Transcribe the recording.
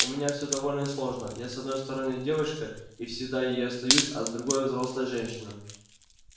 у меня все довольно сложно я с одной стороны девочка и всегда ею останусь а с другой взрослая женщина